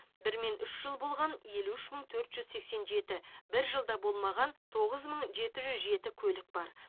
бір мен үш жыл болған елу үш мың төрт жүз сексен жеті бір жыл да болмаған тоғыз мың жеті жүз жеті көлік бар